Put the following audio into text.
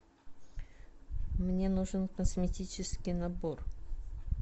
мне нужен косметический набор